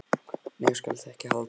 Nei, þú skalt ekki halda það!